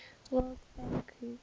world bank group